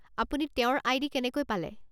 আপুনি তেওঁৰ আই.ডি. কেনেকৈ পালে?